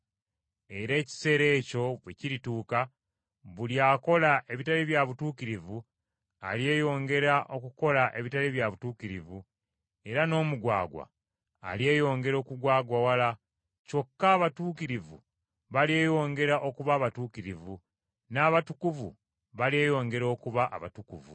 Era ekiseera ekyo bwe kirituuka, buli akola ebitali bya butuukirivu alyeyongera okukola ebitali bya butuukirivu, era n’omugwagwa alyeyongera okugwagwawala, kyokka abatuukirivu balyeyongera okuba abatuukirivu, n’abatukuvu balyeyongera okuba abatukuvu.